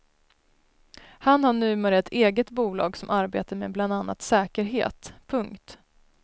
Han har numera ett eget bolag som arbetar med bland annat säkerhet. punkt